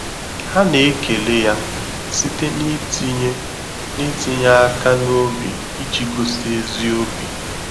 Ha na-ekele ya site n’itinye n’itinye aka n’obi iji gosi ezi obi.